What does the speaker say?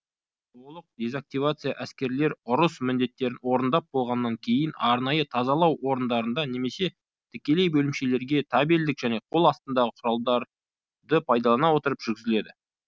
толық дезактивация әскерлер ұрыс міндеттерін орындап болғаннан кейін арнайы тазалау орындарында немесе тікелей бөлімшелерде табельдік және қол астындағы құралдарды пайдалана отырып жүргізіледі